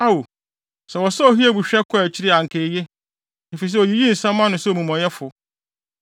Ao, sɛ wɔsɔɔ Hiob hwɛ kɔɔ akyiri a anka eye, efisɛ oyiyii nsɛm ano sɛ omumɔyɛfo!